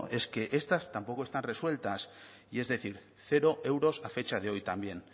es que estas tampoco están resueltas y es decir cero euros a fecha de hoy también